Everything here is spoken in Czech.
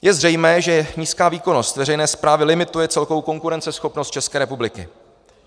Je zřejmé, že nízká výkonnost veřejné správy limituje celkovou konkurenceschopnost České republiky.